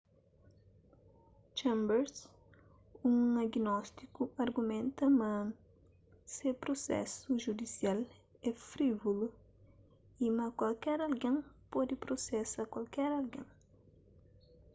chambers un agnóstiku argumenta ma se prusesu judisial é frívulu y ma kualker algen pode prusesa kualker algen